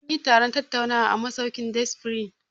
Mun yi taron tattaunawa a masaukin Day spring.